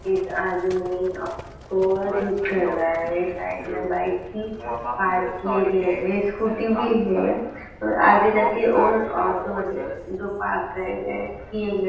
एक आदमी को ठीक कर रहा है साइड में बाइक की पार्क किये गए है स्कूटी भी है और आगे जाकर और ऑटो है जो पार्क कय गए किए गए।